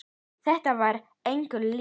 Þetta var engu líkt.